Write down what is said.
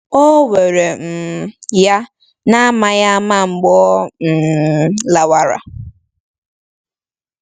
O were um ya n'amaghị ama mgbe ọ um lawara.